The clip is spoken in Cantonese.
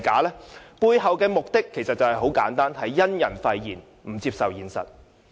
其背後的目的很簡單，便是因人廢言，不接受現實。